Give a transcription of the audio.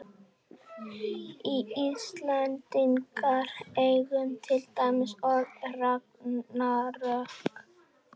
við íslendingar eigum til dæmis orðið ragnarök